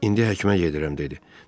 İndi həkimə gedirəm dedi.